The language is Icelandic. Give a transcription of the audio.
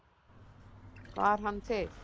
Var hann til?